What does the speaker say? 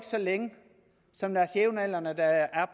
så længe som deres jævnaldrende der er